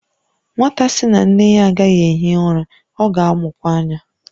Nwata sị na nne ya agaghị ehi ụra, ọ ga-amụkwa anya